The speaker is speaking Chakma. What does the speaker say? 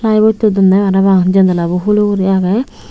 bolto dondey parapang janalabo hulo uri agey.